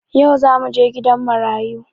Yau zamuje gidan marayu